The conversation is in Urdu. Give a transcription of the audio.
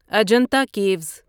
اجنتا کیوس